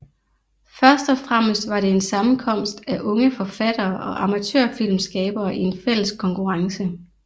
Først og fremmest var det en sammenkomst af unge forfattere og amatørfilmskabere i en fælles konkurrence